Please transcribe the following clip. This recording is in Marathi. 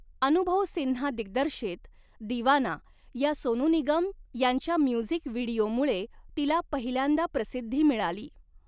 अनुभव सिन्हा दिग्दर्शित 'दीवाना' या सोनू निगम यांच्या म्युझिक व्हिडिओमुळे तिला पहिल्यांदा प्रसिद्धी मिळाली.